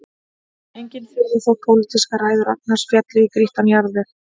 Engin furða þótt pólitískar ræður Ragnars féllu í grýttan jarðveg